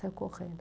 Saiu correndo.